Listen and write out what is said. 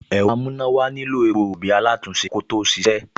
Ẹ̀rọ amúnáwọlé nílò epo rọ̀bì alátùn-únṣe kó tó ṣíṣe